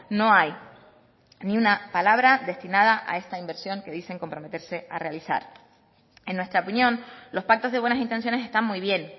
no hay ni una palabra destinada a esta inversión que dicen comprometerse a realizar en nuestra opinión los pactos de buenas intenciones están muy bien